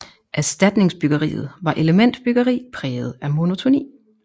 Erstatningsbyggeriet var elementbyggeri præget af monotoni